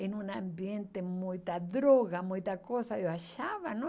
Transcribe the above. em um ambiente com muita droga, muita coisa, eu achava, né?